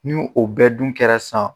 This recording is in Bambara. Ni o bɛ dun kɛra san